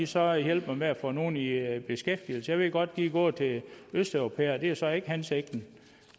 så hjælper med at få nogle i beskæftigelse jeg ved godt at de er gået til østeuropæere det er jo så ikke hensigten